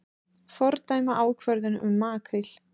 Fordæma ákvörðun um makríl